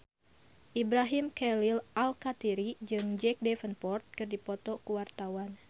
Ibrahim Khalil Alkatiri jeung Jack Davenport keur dipoto ku wartawan